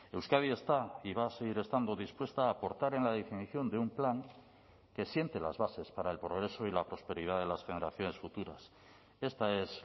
euskadi está y va a seguir estando dispuesta a aportar en la definición de un plan que siente las bases para el progreso y la prosperidad de las generaciones futuras esta es